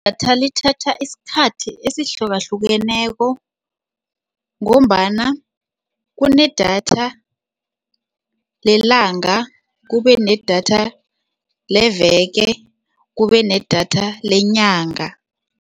Idatha lithatha isikhathi esihlukahlukeneko ngombana kunedatha lelanga, kube nedatha leveke, kube nedatha lenyanga.